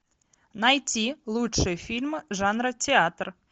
найти лучшие фильмы жанра театр